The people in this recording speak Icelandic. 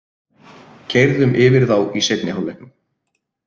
Keyrðum yfir þá í seinni hálfleiknum